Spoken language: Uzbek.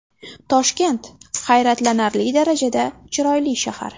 Toshkent – hayratlanarli darajada chiroyli shahar.